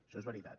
això és veritat